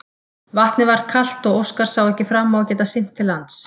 Vatnið var kalt og Óskar sá ekki fram á að geta synt til lands.